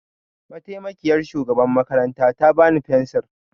Mataimakiyar shugaban makaranta ta bani fensir.